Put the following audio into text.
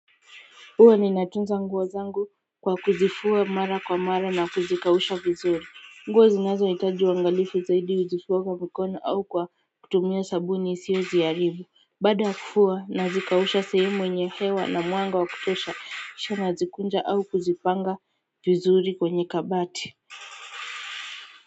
Huwa ninatunza nguo zangu kwa kuzifua mara kwa mara na kuzikausha vizuri nguo zinazoitaji uangalifu zaidi huzifuwa kwa mikono au kwa kutumia sabuni isiyo ziharibu baada ya kufua nazikausha sehrmu yenye hewa na mwanga wa kutosha kisha nazikunja au kuzipanga vizuri kwenye kabati.